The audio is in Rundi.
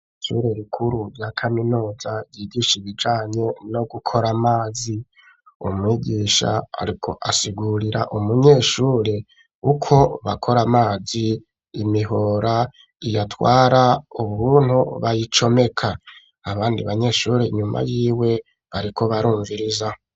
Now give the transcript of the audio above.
Ishure rikuru rya kaminuza, yigisha ibijanye no gukora amazi, umwigisha ariko asigurira umunyeshuri uko bakora amazi, imihora iyatwara ukuntu bayicomeka, abandi banyeshuri inyuma y'iwe bariko barumviriza.